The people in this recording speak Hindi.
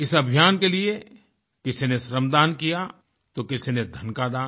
इस अभियान के लिए किसी ने श्रमदान किया तो किसी ने धन का दान